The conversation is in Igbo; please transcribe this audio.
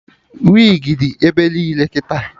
Wigi dị ebe niile kịta